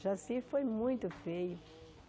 Jaci foi muito feio.